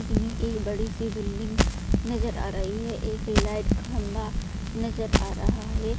Image एक बड़ी सी बिल्डिंग नजर आ रही है एक लाइट का खम्बा नजर आ रहा है।